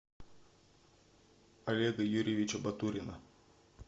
олега юрьевича батурина